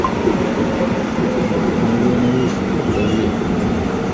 мулен руж покажи